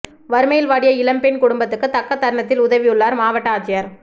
வறுமையில் வாடிய இளம் பெண் குடும்பத்துக்கு தக்க தருணத்தில் உதவியுள்ளார் மாவட்ட ஆட்சியர்